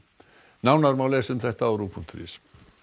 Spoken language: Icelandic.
nánar má lesa um þetta á ruv punktur is